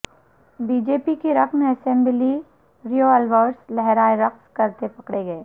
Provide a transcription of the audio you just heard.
be J P رکن اسمبلی revolvers لہرائے رقص کرتے پکڑے گئے